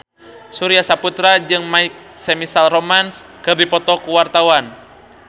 Surya Saputra jeung My Chemical Romance keur dipoto ku wartawan